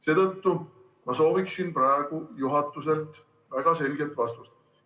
Seetõttu ma sooviksin praegu juhatuselt väga selget vastust.